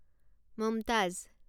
Mumtaz